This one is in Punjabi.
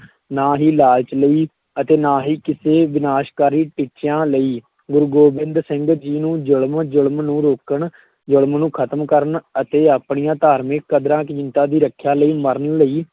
ਨਾ ਹੀ ਲਾਲਚ ਲਈ ਅਤੇ ਨਾ ਹੀ ਕਿਸੇ ਵਿਨਾਸ਼ਕਾਰੀ ਟੀਚਿਆਂ ਲਈ, ਗੁਰੂ ਗੋਬਿੰਦ ਸਿੰਘ ਜੀ ਨੂੰ, ਜ਼ੁਲਮ ਜ਼ੁਲਮ ਨੂੰ ਰੋਕਣ ਜ਼ੁਲਮ ਨੂੰ ਖਤਮ ਕਰਨ ਅਤੇ ਆਪਣੀਆਂ ਧਾਰਮਿਕ ਕਦਰਾਂ ਕੀਮਤਾਂ ਦੀ ਰੱਖਿਆ ਲਈ ਮਰਨ ਲਈ